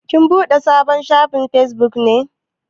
Kin buɗe sabon shafin Facebook ne?